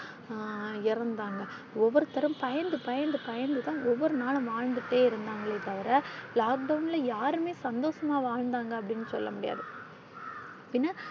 ஆஹ் இறந்தாங்க ஒவ்வொருத்தரும் பயந்து பயந்து தான் ஒவ்வொரு நாளும் வாழ்ந்துட்டே இருந்தாங்களே தவிர lockdown ல யாருமே சந்தோஷமா வாழ்ந்தாங்க அப்பிடினு சொல்ல முடியாது